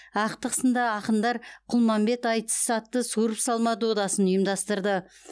ақтық сында ақындар құлманбет айтыс атты суырып салма додасын ұйымдастырды